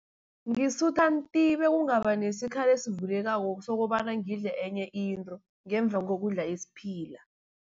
Ngisutha nti bekungaba nesikhala esivulekako, sokobana ngidle enye into ngemva kokudla isiphila.